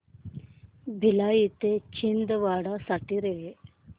भिलाई ते छिंदवाडा साठी रेल्वे